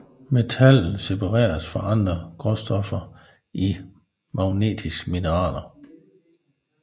Metallet separeres fra andre grundstoffer i magmatiske mineraler